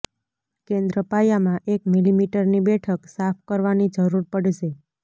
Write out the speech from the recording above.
કેન્દ્ર પાયામાં એક મિલિમીટરની બેઠક સાફ કરવાની જરૂર પડશે